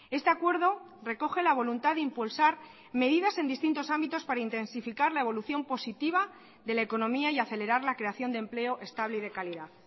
este acuerdo recoge la voluntad de impulsar medidas en distintos ámbitos para intensificar la evolución positiva de la economía y acelerar la creación de empleo estable y de calidad